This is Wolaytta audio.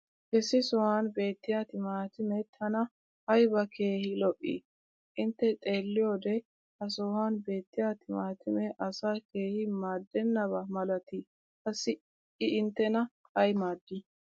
Issi sohuwan beettiya timaatimee tana aybba keehi lo'ii? Intte xeeliyoode ha sohuwan beetiya timaatimee asaa keehi maadenaba malatii qassi i inttena ay maadii?